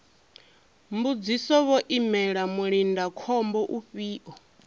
mbudziso vho imela mulindakhombo ufhio